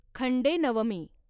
Khandenavami